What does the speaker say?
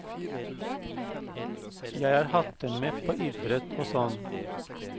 Jeg har hatt dem med på idrett og sånn.